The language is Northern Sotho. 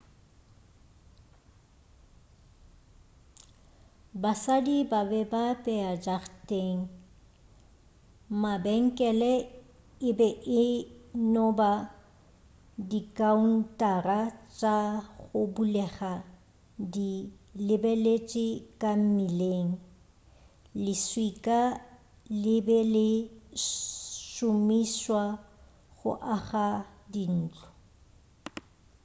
basadi ba be a apea ka jarateng mabenkele e be e no ba dikaountara tša go bulega di lebeletše ka mmileng leswika le be le šomišwa go aga dintlo